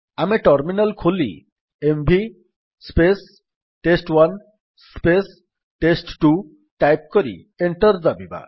ଆମେ ଟର୍ମିନାଲ୍ ଖୋଲି MV test one test two type କରି ଏଣ୍ଟର୍ ଦାବିବା